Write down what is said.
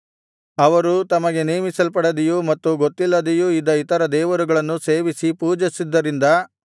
ಅವರು ತಮಗೆ ನೇಮಿಸಲ್ಪಡದೆಯೂ ಮತ್ತು ಗೊತ್ತಿಲ್ಲದೆಯೂ ಇದ್ದ ಇತರ ದೇವರುಗಳನ್ನು ಸೇವಿಸಿ ಪೂಜಿಸಿದ್ದರಿಂದ